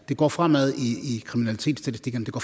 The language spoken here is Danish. det går fremad i kriminalitetsstatistikkerne det går